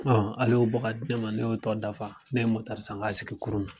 Ale y'o bɔ ka di ne ma ne y'o tɔ dafa ne ye san k'a sigi kurun na.